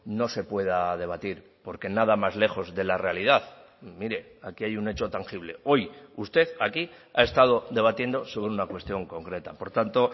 no se pueda debatir porque nada más lejos de la realidad mire aquí hay un hecho tangible hoy usted aquí ha estado debatiendo sobre una cuestión concreta por tanto